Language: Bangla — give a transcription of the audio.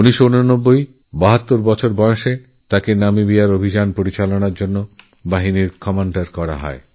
১৯৮৯ সালে ৭২ বছর বয়সে তাঁকেনামিবিয়ার অভিযানে বাহিনী কম্যাণ্ডার নিযুক্ত করা হয়